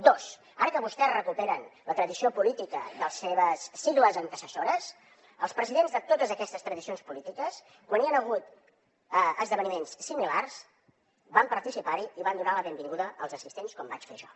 dos ara que vostès recuperen la tradició política de les seves sigles antecessores els presidents de totes aquestes tradicions polítiques quan hi han hagut esdeveniments similars hi han participat i han donat la benvinguda als assistents com vaig fer jo